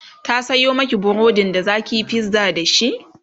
ta Sayo Maki burodin da zakiyi pizza dashi?